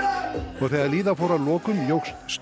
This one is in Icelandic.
og þegar líða fór að lokum jókst